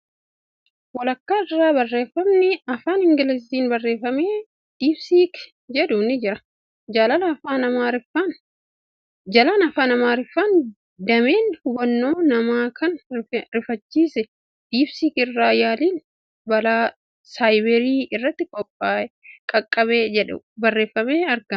Walakkaa irraa barreeffamni afaan Ingiliiziin barreeffame ' Diipsiik ' jedhu ni jira. Jalaan Afaan Amaariffaan ' dameen hubannoo namaa kan rifachiise diibsiikii irra yaaliin balaa saayibarii irratti qaqqabe ' jedhu barreeffamee aragama.